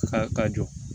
Ka ka jɔ